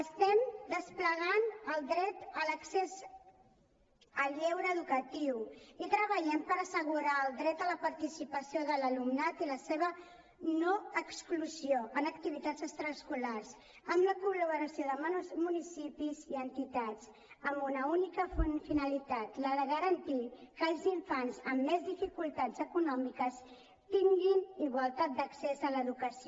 estem desplegant el dret a l’accés al lleure educatiu i treballem per assegurar el dret a la participació de l’alumnat i la seva no exclusió en activitats extraescolars amb la col·laboració de municipis i entitats amb una única finalitat la de garantir que els infants amb més dificultats econòmiques tinguin igualtat d’accés a l’educació